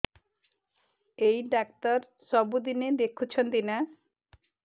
ଏଇ ଡ଼ାକ୍ତର ସବୁଦିନେ ଦେଖୁଛନ୍ତି ନା